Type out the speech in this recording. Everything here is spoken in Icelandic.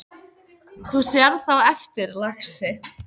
Þú sérð það á eftir, lagsi.